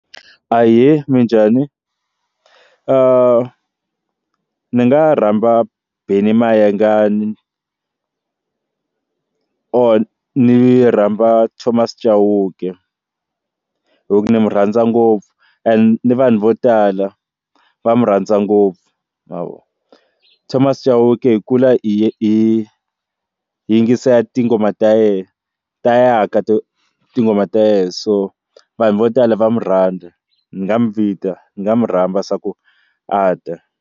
Ahee, minjhani? ni nga rhamba Benny Mayengani or ni rhamba Thomas Chauke hi ku ni n'wi rhandza ngopfu and ni vanhu vo tala va mu rhandza ngopfu ma vo Thomas Chauke hi kula hi hi hi yingisela tinghoma ta yena ta ya ka tinghoma ta yena so vanhu vo tala va murhandza ni nga mi vita ni nga mu rhamba swa ku a ta.